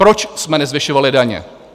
Proč jsme nezvyšovali daně?